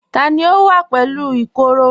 Tani ó wà pẹ̀lú ìkoro?